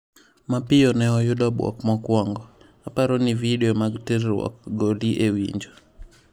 Mapiyo ne oyudo bwok mokuongo: " aparo ni vidio mag terruok goli e winjo.